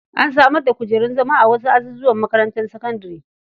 An samar da kujerun zama a wasu azuzuwan makarantar sakandare.